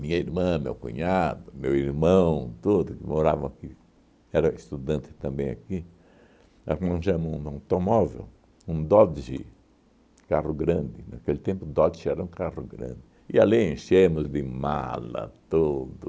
Minha irmã, meu cunhado, meu irmão tudo, que moravam aqui, era estudante também aqui, arranjamos um automóvel, um Dodge, carro grande, naquele tempo o Dodge era um carro grande, e ali enchemos de mala tudo.